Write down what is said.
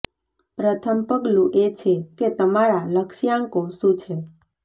પ્રથમ પગલું એ છે કે તમારા લક્ષ્યાંકો શું છે